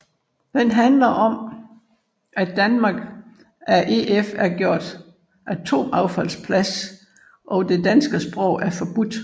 Den handler om at Danmark af EF er gjort til atomaffaldsplads og det danske sprog er forbudt